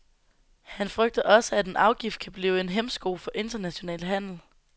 Han frygter også, at en afgift kan blive en hæmsko for international handel.